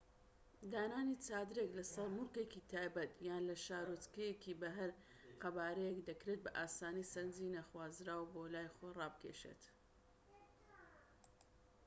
دانانی چادرێک لەسەر موڵکێکی تایبەت یان لە شارۆچکەیەک بە هەر قەبارەیەک دەکرێت بە ئاسانی سەرنجی نەخوازراو بۆ لای خۆی ڕابکێشێت‎